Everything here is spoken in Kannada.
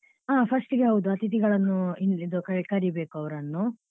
ಹಾ first ಗೆ ಹೌದು ಅತಿಥಿಗಳನ್ನು ಇದು ಕರಿಬೇಕು ಅವರನ್ನು